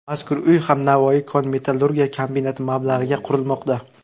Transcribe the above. Mazkur uy ham Navoiy kon-metallurgiya kombinati mablag‘iga qurilmoqda.